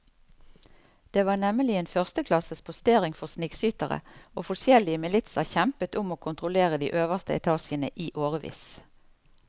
Det var nemlig en førsteklasses postering for snikskyttere, og forskjellige militser kjempet om å kontrollere de øverste etasjene i årevis.